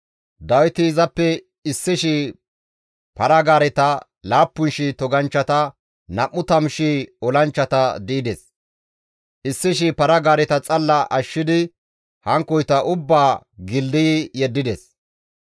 Dawiti izappe 1,000 para-gaareta, 7,000 toganchchata, 20,000 olanchchata di7ides; 100 para-gaareta xalla ashshidi hankkoyta ubbaa gildayi yeddides.